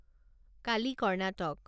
Kali Karnataka